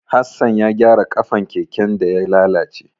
Hassan ya gyara ƙafan keken da ya lalace.